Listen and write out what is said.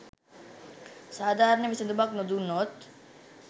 සාධාරණ විසඳුමක් නොදුන්නොත්